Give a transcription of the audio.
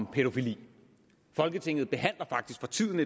om pædofili folketinget behandler faktisk for tiden